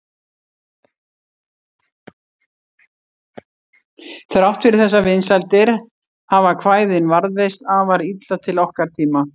Þrátt fyrir þessar vinsældir hafa kvæðin varðveist afar illa til okkar tíma.